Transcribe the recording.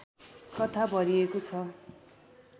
कथा भरिएको छ